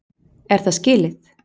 Er það skilið?!